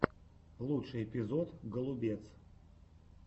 лучший эпизод голубец